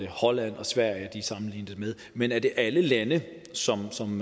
holland og sverige sammenlignet med men er det alle lande som som